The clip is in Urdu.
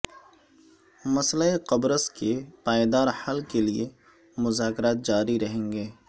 مسئلہ قبرص کے پائیدار حل کے لیے مذاکرات جاری رہیں گے